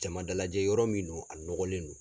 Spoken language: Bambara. Jamana dalajɛ yɔrɔ min do a ɲɔgɔlen do.